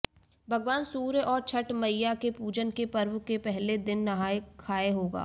भगवान सूर्य और छठ मइया के पूजन के पर्व के पहले दिन नहाय खाय होगा